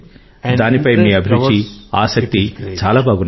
దాని పై మీ అభిరుచి ఆసక్తి చాలా బాగున్నాయి